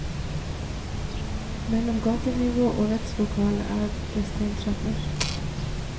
Mellom gatenivå og rettslokale er det steintrapper.